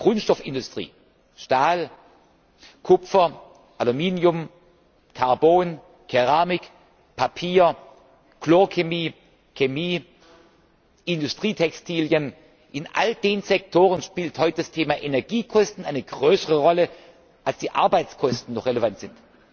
In der Grundstoffindustrie Stahl, Kupfer, Aluminium, Karbon, Keramik, Papier, Chlorchemie, Chemie, Industrietextilien in all diesen Sektoren spielt heute das Thema Energiekosten eine größere Rolle, als die Arbeitskosten noch relevant sind.